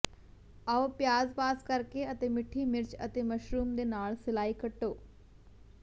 ਆਓ ਪਿਆਜ਼ ਪਾਸ ਕਰਕੇ ਅਤੇ ਮਿੱਠੀ ਮਿਰਚ ਅਤੇ ਮਸ਼ਰੂਮ ਦੇ ਨਾਲ ਸਿਲਾਈ ਕੱਟੋ